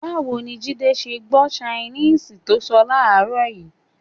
Báwo ni Jídé ṣe gbọ́ ṣainíìsì tó ń sọ láàárọ̀ yìí?